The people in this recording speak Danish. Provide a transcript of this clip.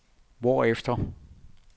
hvorefter